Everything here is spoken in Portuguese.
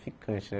Ficante, né?